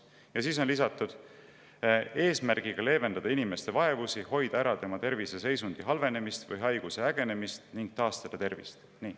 Ja siis on lisatud: eesmärgiga leevendada inimeste vaevusi, hoida ära tema tervise seisundi halvenemist või haiguse ägenemist ning taastada tervist.